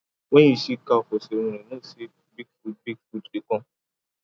when you see cow for ceremony know say big food big food dey come